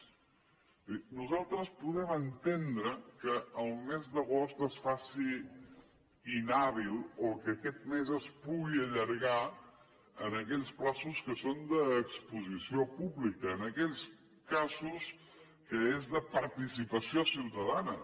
vull dir nosaltres podem entendre que el mes d’agost es faci inhàbil o que aquest mes es pugui allargar en aquells terminis que són d’exposició pública en aquells casos que són de participació ciutadana